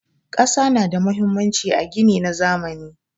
Ƙasa na da muhimmanci a gini na zamani.